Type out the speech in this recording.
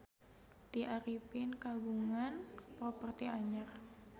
Tya Arifin kagungan properti anyar